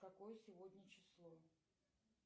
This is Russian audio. какое сегодня число